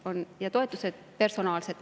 Ja need toetused on personaalsed.